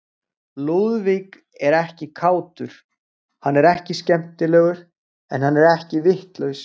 Lúðvík er ekki kátur, hann er ekki skemmtilegur, en hann er ekki vitlaus.